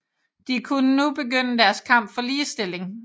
De kunne nu begynde deres kamp for ligestilling